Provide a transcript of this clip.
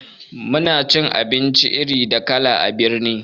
Muna cin abinci iri da kala a birni